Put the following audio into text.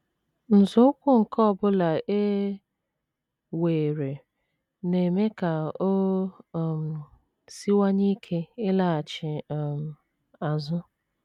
Nzọụkwụ nke ọ bụla e weere na - eme ka o um siwanye ike ịlaghachi um azụ.